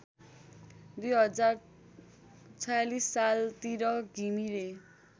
२०४६ सालतिर घिमिरे